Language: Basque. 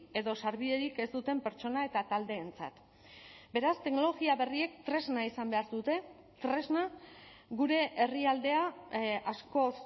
edo sarbiderik ez duten pertsona eta taldeentzat beraz teknologia berriek tresna izan behar dute tresna gure herrialdea askoz